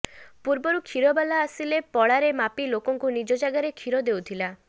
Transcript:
ପୂର୍ବରୁ କ୍ଷୀରବାଲା ଆସିଲେ ପଳାରେ ମାପି ଲୋକଙ୍କୁ ନିଜ ଜାଗାରେ କ୍ଷୀର ଦେଉଥିଲା